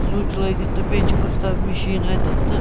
switch لٲگِتھ تہٕ بیٚیہِ چھ کُستام مِشیٖن اَتٮ۪تھ تہٕ